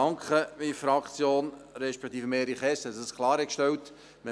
Und ich danke meiner Fraktion respektive Erich Hess, dass er dies klargestellt hat.